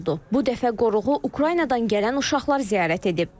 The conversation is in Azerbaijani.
Bu dəfə qoruğu Ukraynadan gələn uşaqlar ziyarət edib.